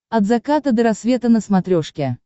от заката до рассвета на смотрешке